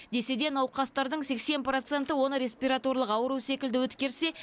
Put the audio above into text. десе де науқастардың сексен проценті оны респираторлық ауру секілді өткерсе